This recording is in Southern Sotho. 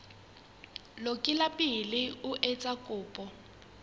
lokile pele o etsa kopo